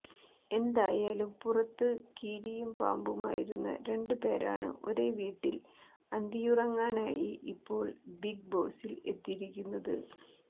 എന്തായാലും പുറത്തു കീരിയും പാമ്പുമായിരുന്ന രണ്ടു പേരാണ് ഒരേ വീട്ടിൽ അന്തിയുറങ്ങാനായി ഇപ്പോൾ ബിഗ് ബോസിൽ എത്തിയിരിക്കുന്നത്